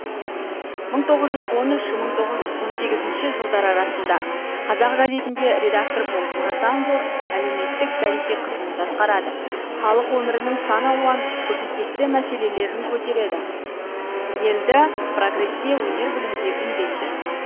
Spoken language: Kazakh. мың тоғыз жүз он үш мың тоғыз жүз он сегізінші жылдар арасында қазақ газетінде редактор болып орасан зор әлеуметтік тарихи қызмет атқарады халық өмірінің сан алуан көкейкесті мәселелерін көтереді елді прогреске өнер білімге үндейді